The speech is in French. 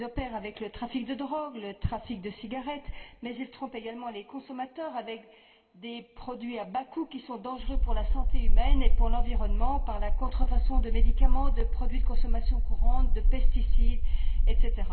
Ils opèrent avec le trafic de drogues, le trafic de cigarettes, mais ils trompent également les consommateurs avec des produits à bas coûts qui sont dangereux pour la santé humaine et pour l'environnement, avec la contrefaçon de médicaments et de produits de consommation courante, de pesticides, etc.